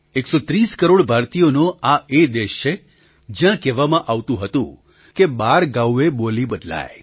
૧૩૦ કરોડ ભારતીયોનો આ એ દેશ છે જ્યાં કહેવામાં આવતું હતું કે બાર ગાઉએ બોલી બદલાય